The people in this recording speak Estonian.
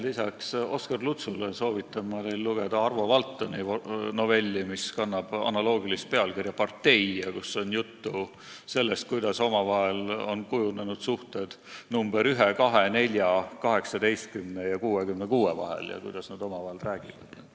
Lisaks Oskar Lutsule soovitan ma teil lugeda Arvo Valtoni novelli, mis kannab analoogilist pealkirja "Partei" ja kus on juttu sellest, kuidas on kujunenud suhted number 1, 2, 4, 18 ja 66 vahel ning mida nad omavahel räägivad.